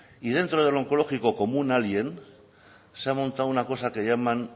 y dentro del oncológico como un alien se ha montado una cosa que llaman